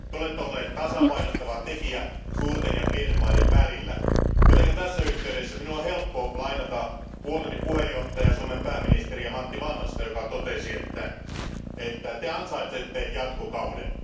Te olette ollut tasapainottava tekijä suurten ja pienten maiden välillä, joten tässä yhteydessä minun on helppo lainata puolueeni puheenjohtajaa, Suomen pääministeriä Matti Vanhasta, joka totesi, että te ansaitsette jatkokauden.